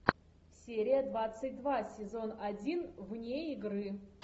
серия двадцать два сезон один вне игры